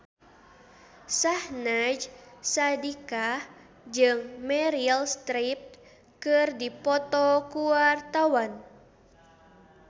Syahnaz Sadiqah jeung Meryl Streep keur dipoto ku wartawan